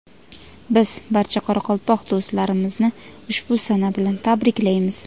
Biz barcha qoraqalpoq do‘stlarimizni ushbu sana bilan tabriklaymiz!.